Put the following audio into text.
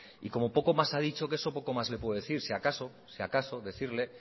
y como poco más ha dicho que eso poco más le puedo decir si acaso si acaso decirle